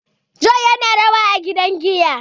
John yana rawa a gidan giya